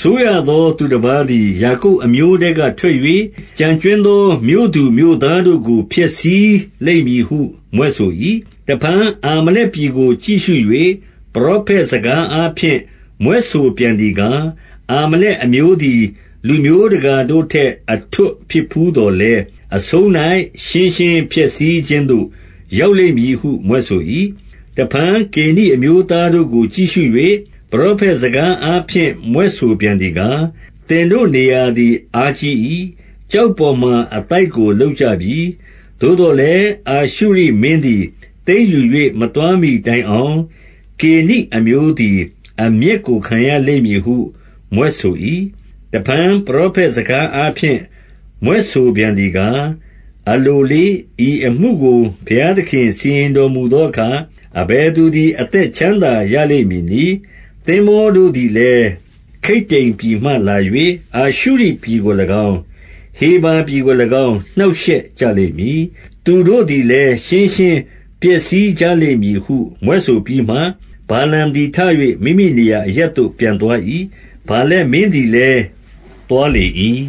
စိုးရသော သူတပါးသည်၊ ယာကုပ်အမျိုးထဲက ထွက်၍၊ ကျန်ကြွင်းသောမြို့သူမြို့သားတို့ကို ဖျက်ဆီးလိမ့် မည်ဟု မြွက်ဆို၏။ 20 တဖန်အာမလက်ပြည်ကို ကြည့်ရှု၍ ပရောဖက် စကားအားဖြင့် မြွက်ဆိုပြန်သည်ကား၊ အာမလက်အမျိုး သည် လူမျိုးတကာတို့ထက် အထွဋ်ဖြစ်ဘူးသော်လည်း၊ အဆုံး၌ ရှင်းရှင်းပျက်စီးခြင်းသို့ ရောက်လိမ့်မည်ဟု မြွက် ဆို၏။ 21 တဖန် ကေနိအမျိုးသားတို့ကို ကြည့်ရှု၍ ပရော ဖက်စကားအားဖြင့် မြွက်ဆိုပြန်သည်ကား၊ သင်တို့ နေရာ သည် အားကြီး၏။ ကျောက်ပေါ်မှာ အသိုက်ကို လုပ်ကြ ပြီ။ 22 သို့သော်လည်း အာရှုရိမင်းသည် သိမ်းယူ၍ မသွားမှီတိုင်အောင်၊ ကေနိအမျိုးသည် အမျက်ကို ခံရလိမ့် မည်ဟု မြွက်ဆို၏။ 23 တဖန် ပရောဖက်စကားအားဖြင့် မြွက်ဆိုပြန် သည်ကား၊ အလိုလေ့၊ ဤအမှုကို ဘုရားသခင် စီရင် တော်မူသောအခါ၊ အဘယ်သူသည် အသက်ချမ်းသာ ရလိမ့်မည်နည်း။ 24 သင်္ဘောတို့သည်လည်း ခိတ္တိမ်ပြည်မှလာ၍ အာရှုရိပြည်ကို၎င်း၊ ဟေဗာပြည်ကို၎င်း နှောင့်ရှက်ကြ လိမ့်မည်။ သူတို့သည်လည်း ရှင်းရှင်းပျက်စီးကြလိမ့်မည် ဟု မြွက်ဆိုပြီးမှ၊ 25 ဗာလမ်သည် ထ၍ မိမိနေရာအရပ်သို့ ပြန် သွား၏။ ဗာလက်မင်းသည်လည်း သွားလေ၏။